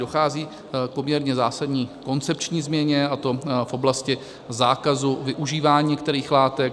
Dochází k poměrně zásadní koncepční změně, a to v oblasti zákazu využívání některých látek.